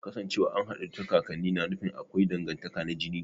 Kasancewa an haɗu ta kakanni na nufin akwai dangantaka na jini